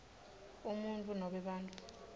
umuntfu nobe bantfu